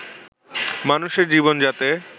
মানুষের জীবন যাতে